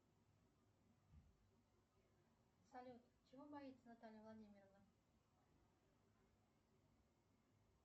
салют чего боится наталья владимировна